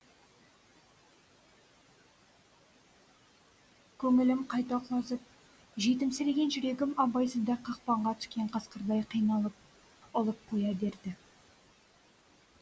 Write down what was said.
көңілім қайта құлазып жетімсіреген жүрегім абайсызда қақпанға түскен қасқырдай қиналып ұлып қоя берді